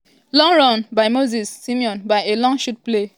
long run by simon moses from a long shot played by ndidi-